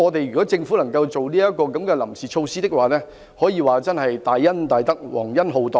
如果政府可以推出這項臨時措施，可說是大恩大德、皇恩浩蕩。